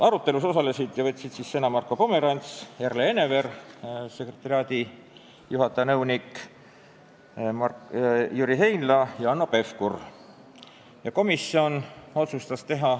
Arutelus osalesid ja võtsid sõna Marko Pomerants, nõunik-sekretariaadijuhataja Erle Enneveer, Jüri Heinla ja Hanno Pevkur.